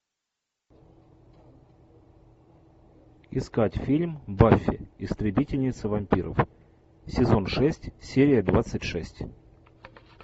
искать фильм баффи истребительница вампиров сезон шесть серия двадцать шесть